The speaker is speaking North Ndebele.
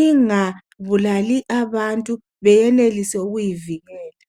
ingabulali abantu beyenelise ukuyivikela.